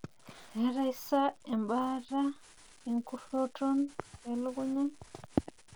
keetae sa ebaata enkuroton elukunya?